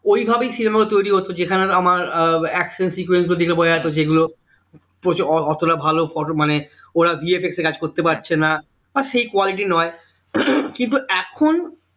ওই ভাবেই cinema গুলো তৈরি হতো যেখানে আহ আমার আহ action sequence দেখে বোঝা যেত যে এগুলো বলছে এত এতটা ভালো photo মানে ওরা bfx এ কাজ করতে পারছে না আর সেই quality নয় কিন্তু এখন